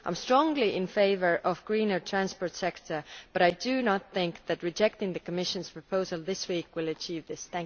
I am strongly in favour of a greener transport sector but I do not think that rejecting the Commission's proposal this week will achieve this.